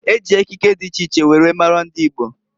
E ji ekike di iche iche were maara ndi Igbo.